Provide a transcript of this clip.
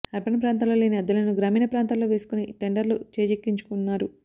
urban ప్రాంతాల్లో లేని అద్దెలను గ్రామీణ ప్రాంతాల్లో వేసుకుని టెండర్లు చేజిక్కించుకున్నారు